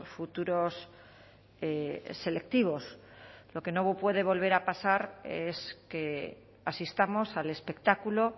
futuros selectivos lo que no puede volver a pasar es que asistamos al espectáculo